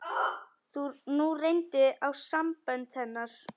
Nú reyndi á sambönd hennar.